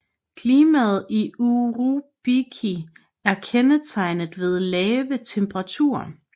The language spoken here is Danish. Klimaet i Urubici er kendetegnet ved lave temperaturer